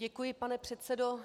Děkuji, pane předsedo.